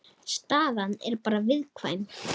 Staðan er bara viðkvæm